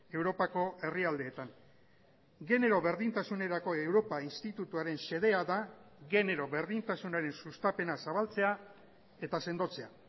europako herrialdeetan genero berdintasunerako europa institutuaren xedea da genero berdintasunaren sustapena zabaltzea eta sendotzea